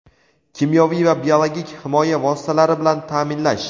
kimyoviy va biologik himoya vositalari bilan taʼminlash;.